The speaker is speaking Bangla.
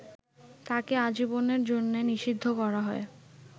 তাকে আজীবনের জন্যে নিষিদ্ধ করা হয়।